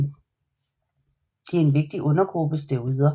De er en vigtig undergruppe steroider